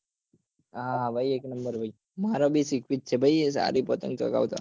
ભાઈ હા એક નંબર ભાઈ